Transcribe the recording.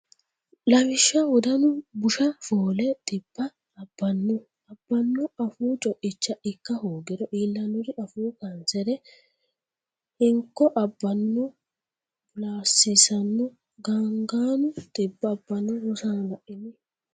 Lawishsha Wodanu Busha foole dhibba abbanno abbanno Afuu co’icha ikka hoogiro iillannori Afuu kaansere Hinko abbanno bulaasiisanno Gaangaanu dhibba abbanno Rosaano la’ini?